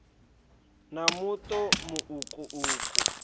na muṱo mu uku uku